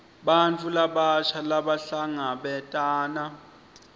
bantfu labasha labahlangabetana